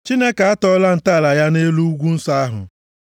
Chineke atọọla ntọala ya nʼelu ugwu nsọ ahụ;